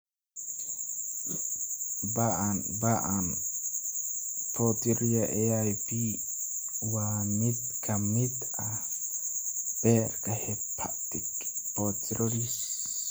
Ba'an ba'an porphyria (AIP) waa mid ka mid ah beerka (hepatic) porphyrias.